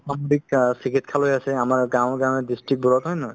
চিকিৎসালয় আছে আমাৰ গাঁৱে গাঁৱে district বোৰত হয় নে নহয়